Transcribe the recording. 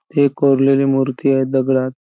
हे कोरलेली मूर्ती आहे दगडात.